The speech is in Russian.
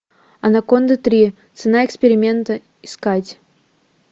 анаконда три цена эксперимента искать